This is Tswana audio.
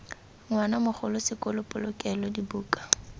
ngwana mogolo sekolo polokelo dibuka